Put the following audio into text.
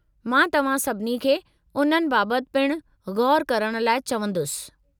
मां तव्हां सभिनी खे उननि बाबत पिणु ग़ौरु करण लाइ चवंदुसि।